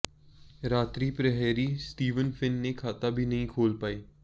रात्रि प्रहरी Steven Finn ने खाता भी नहीं खोल पाए